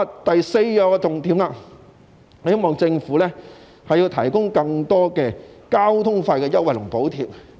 第四個重點是希望政府提供更多交通費優惠和補貼。